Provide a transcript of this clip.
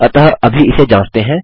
अतः अभी इसे जाँचते हैं